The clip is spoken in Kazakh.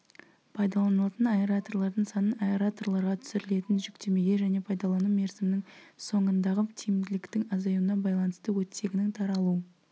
пайдаланылатын аэраторлардың санын аэраторларға түсірілетін жүктемеге және пайдалану мерзімінің соңындағы тиімділіктің азаюына байланысты оттегінің таралу